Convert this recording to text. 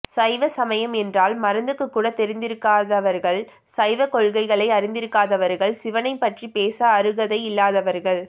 சைவ சமயம் என்றால் மருந்துக்குக்கூட தெரிந்திருக்காதவர்கள் சைவ கொள்கைகளை அறிந்திருக்காதவர்கள் சிவனைப் பற்றிப் பேச அருகதை இல்லாதவர்கள்